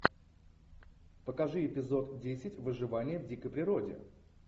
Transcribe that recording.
покажи эпизод десять выживание в дикой природе